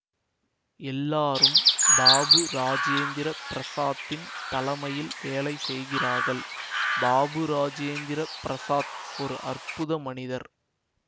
எல்லாரும் பாபு ராஜேந்திர பிரஸாத்தின் தலமையில் வேலை செய்கிறார்கள் பாபு ராஜேந்திர பிரஸாத் ஓர் அற்புத மனிதர்